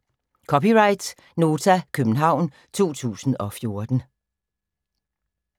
(c) Nota, København 2014